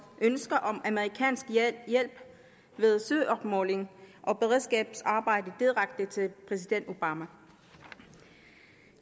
ønske om amerikansk hjælp ved søopmåling og beredskabsarbejde direkte til præsident obama